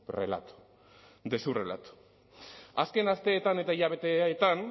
relato de su relato azken asteetan eta hilabeteetan